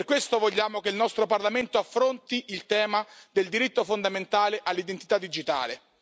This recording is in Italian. Per questo vogliamo che il nostro Parlamento affronti il tema del diritto fondamentale all'identità digitale.